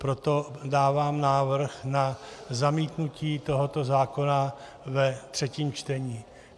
Proto dávám návrh na zamítnutí tohoto zákona ve třetím čtení.